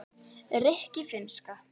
rikki- finnska